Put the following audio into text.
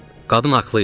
Qadın haqlı idi.